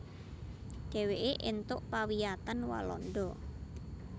Dheweke èntuk pawiyatan Walanda